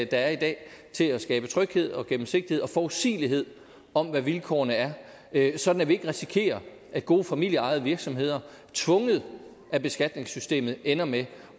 der er i dag til at skabe tryghed og gennemsigtighed og forudsigelighed om hvad vilkårene er er sådan at vi ikke risikerer at gode familieejede virksomheder tvunget af beskatningssystemet ender med